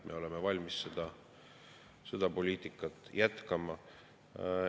Me oleme valmis seda poliitikat jätkama.